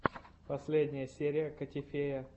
последняя серия котифея